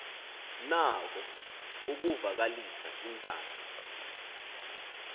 nako ukuvakalisa intando